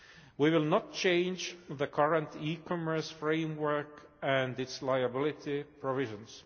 We will not change the current e commerce framework and its liability provisions.